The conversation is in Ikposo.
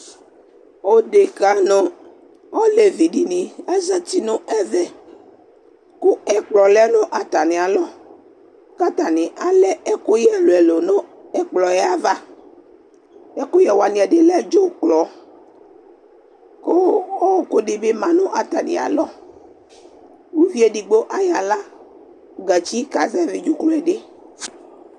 Odeka nu olevidini azati nɛvɛ ku ɛkplɔ lɛ nu atamialɔ katani alɛ ɛkuyɛ ɛlu ɛlu nu ɛkplɔ yɛ ava ɛkuyɛ wani ɛdi lɛ dzuklɔ ɔku dibi ma nu atamialɔ uluvi edigbo ayɔ aɣla gatsi kazɛvi dzuklɔ bi